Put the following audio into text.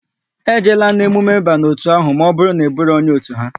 E jeela na emume ba n'otu ahụ maọbụru na Ị buro onye otu ha!